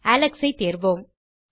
Alex ஐ தேர்வோம்